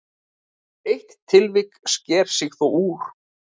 Eitt tilvik sker sig þó úr.